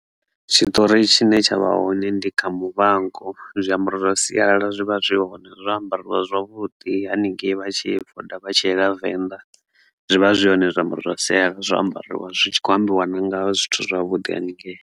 Tshitori tshine tshavha hone ndi kha Muvhango zwiambaro zwa sialala zwi vha zwi hone zwa ambariwa zwavhuḓi haningei vha tshi ṱoḓa vha tshi ya Venḓa zwivha zwi hone zwiambaro zwa sialala zwi ambariwa zwi tshi kho ambiwa na nga zwithu zwavhuḓi haningei.